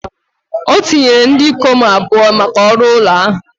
O tinyere ndị ikom abụọ maka ọrụ ụlọ ahụ